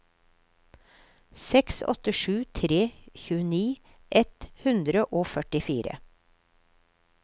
seks åtte sju tre tjueni ett hundre og førtifire